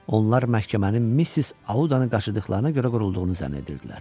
Onlar məhkəmənin Missis Audanı qaçırdıqlarına görə qurulduğunu zənn edirdilər.